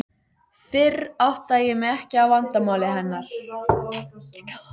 Fyrr áttaði ég mig ekki á vandamáli hennar.